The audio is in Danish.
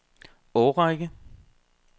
årrække